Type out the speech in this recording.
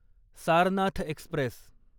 Sarnath Express